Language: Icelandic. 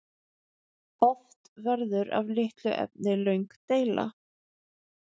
Oft verður af litlu efni löng deila.